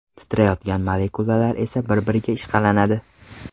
Titrayotgan molekulalar esa bir-biriga ishqalanadi.